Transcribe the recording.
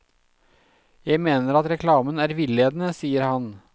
Jeg mener at reklamen er villedende, sier han.